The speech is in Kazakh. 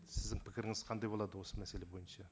сіздің пікіріңіз қандай болады осы мәселе бойынша